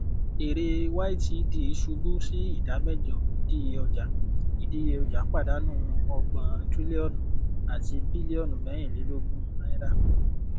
èrè ytd ṣubú sí ìdá mẹjọ ìdíye ọjà ìdíye ọjà padánù ọgbòn trílíọnù àti bílíọnù mẹrìnlélógún náírà